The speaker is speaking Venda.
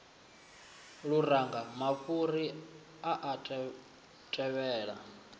luranga mafhuri a a tevhela